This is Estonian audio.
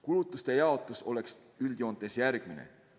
Kulutuste jaotus oleks üldjoontes järgmine.